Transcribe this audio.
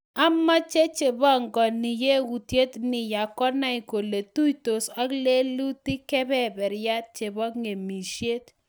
"Amache che pongoni yautiet ni ya, konai kole tuitos ak lelutik kebeberiat chebo ng'emisiet."